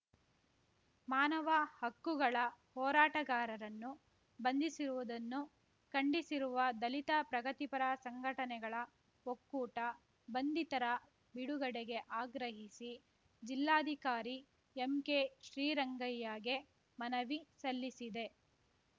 ಮಾನವ ಹಕ್ಕುಗಳ ಹೋರಾಟಗಾರರನ್ನು ಬಂಧಿಸಿರುವುದನ್ನು ಖಂಡಿಸಿರುವ ದಲಿತ ಪ್ರಗತಿಪರ ಸಂಘಟನೆಗಳ ಒಕ್ಕೂಟ ಬಂಧಿತರ ಬಿಡುಗಡೆಗೆ ಆಗ್ರಹಿಸಿ ಜಿಲ್ಲಾಧಿಕಾರಿ ಎಂಕೆಶ್ರೀರಂಗಯ್ಯಗೆ ಮನವಿ ಸಲ್ಲಿಸಿದೆ